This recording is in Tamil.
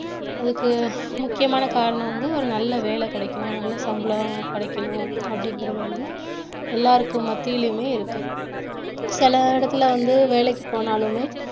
அதுக்கு முக்கியமான காரணம் வந்து ஒரு நல்ல வேலை கிடைக்கணும் நல்ல சம்பளம் கிடைக்கணும் அப்படிங்கிறது வந்து எல்லாருக்கும் மத்தியிலுமே இருக்கு சில இடத்துல வந்து வேலைக்கு போனாலுமே